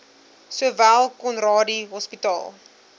sowel conradie hospitaal